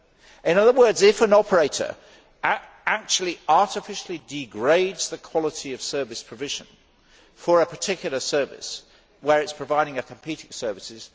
In other words, if an operator actually artificially degrades the quality of service provision for a particular service where it is providing a competing service.